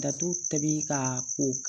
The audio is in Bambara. Datugu ka o